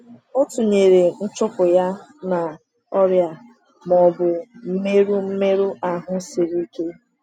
O tụnyere nchụpụ ya na “ọrịa ma ọ bụ mmerụ mmerụ ahụ siri ike.”